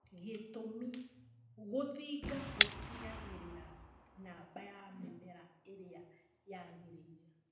Gĩtũmi, gũthinga gũtigagĩrĩra namba ya mĩmera ĩrĩa yagĩrĩire